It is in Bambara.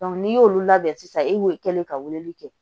n'i y'olu labɛn sisan e kɛlen ka weleli kɛ